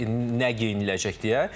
həm də nə geyiniləcək deyə.